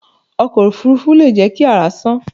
Ọkọ̀ òfurufú leè jẹ́ ki àrá sán